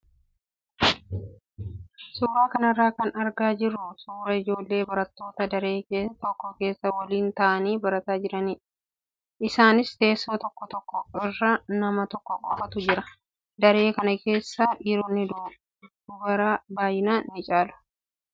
Suuraa kanarraa kan argaa jirru suuraa ijoollee barattoota daree tokko keessa waliin taa'anii barataa jiranidha. Isaanis teessoo tokko tokko irra nama tokko qofaatu jira. Daree kana keessa dhiironni dubara baay'inaan ni caalu.